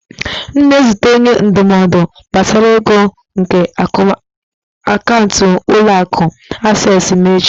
M na-ezute onye ndụmọdụ gbasara ego nke akaụntụ ụlọ akụ acesịị m echi.